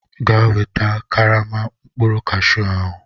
Gaa weta karama mkpụrụ Kashu ahụ!